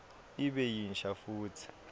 ibe yinsha futsi